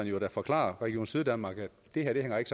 jo da forklare region syddanmark at det her ikke